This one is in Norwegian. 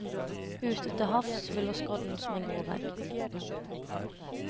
Ute til havs hviler skodden som en grå vegg.